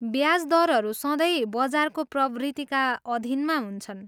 ब्याज दरहरू सँधै बजारको प्रवृत्तिका अधीनमा हुन्छन्।